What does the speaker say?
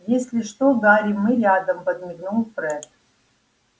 если что гарри мы рядом подмигнул фред